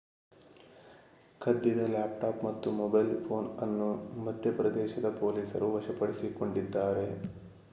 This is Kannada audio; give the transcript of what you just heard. ಕದ್ದಿದ ಲ್ಯಾಪ್‌ಟಾಪ್ ಮತ್ತು ಮೊಬೈಲ್ ಫೋನ್ ಅನ್ನು ಮಧ್ಯಪ್ರದೇಶದ ಪೊಲೀಸರು ವಶಪಡಿಸಿಕೊಂಡಿದ್ದಾರೆ